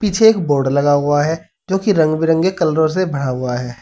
पीछे एक बोर्ड लगा हुआ है जोकि रंग बिरंगे कलरों से भरा हुआ है।